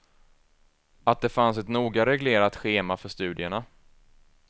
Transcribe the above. Att det fanns ett noga reglerat schema för studierna.